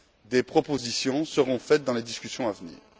Des propositions seront faites dans les discussions à venir.